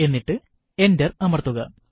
എന്നിട്ട് എന്റർ അമർത്തുക